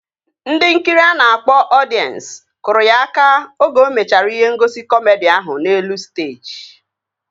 Ndị nkiri a na-akpọ ọdiens kụrụ ya aka oge o mechara ihe ngosi kọmedi ahụ n'elu steeji